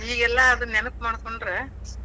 ಈಗೇಲ್ಲಾ ಅದ್ ನೆನಪ್ ಮಾಡ್ಕೋಂಡ್ರ,